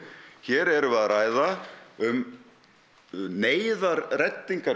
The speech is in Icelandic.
hér erum við að ræða um